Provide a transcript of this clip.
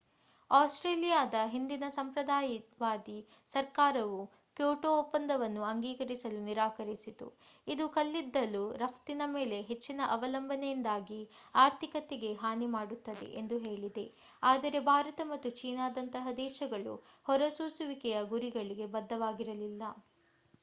ಆಸ್ಟ್ರೇಲಿಯಾದ ಹಿಂದಿನ ಸಂಪ್ರದಾಯವಾದಿ ಸರ್ಕಾರವು ಕ್ಯೋಟೋ ಒಪ್ಪಂದವನ್ನು ಅಂಗೀಕರಿಸಲು ನಿರಾಕರಿಸಿತು ಇದು ಕಲ್ಲಿದ್ದಲು ರಫ್ತಿನ ಮೇಲೆ ಹೆಚ್ಚಿನ ಅವಲಂಬನೆಯಿಂದಾಗಿ ಆರ್ಥಿಕತೆಗೆ ಹಾನಿ ಮಾಡುತ್ತದೆ ಎಂದು ಹೇಳಿದೆ ಆದರೆ ಭಾರತ ಮತ್ತು ಚೀನಾದಂತಹ ದೇಶಗಳು ಹೊರಸೂಸುವಿಕೆಯ ಗುರಿಗಳಿಗೆ ಬದ್ಧವಾಗಿರಲಿಲ್ಲ